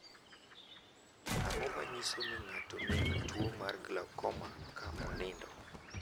Ang’o ma nyiso ni ng’ato nigi tuwo mar Glaukoma ka onindo?